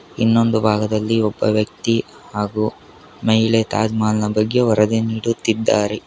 ಇನ್ನೊಂದು ಭಾಗದಲ್ಲಿ ಒಬ್ಬ ವ್ಯಕ್ತಿ ಹಾಗೂ ಮಹಿಳೆ ತಾಜ್ ಮಹಲ್ ನ ಬಗ್ಗೆ ವರದಿ ನೀಡುತ್ತಿದ್ದಾರೆ.